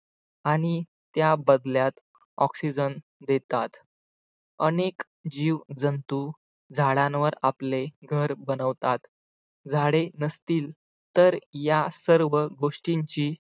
आणि त्याबदल्यात oxygen देतात अनेक जीवजंतू झाडांवर आपले घर बनवतात झाडे नसतील तर या सर्व गोष्टींची